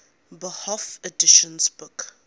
bofh editions took